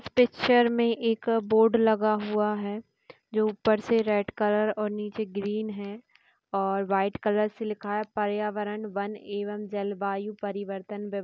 इस पिक्चर मे एक बोर्ड लगा हुआ है जो उपर से रेड़ कलर और नीचे ग्रेन कलर है और व्हाइट कलर से लिखा हुआ है पर्यावरण वन एवं जल वायु परिवर्तन --